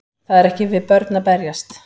Það er ekki við börn að berjast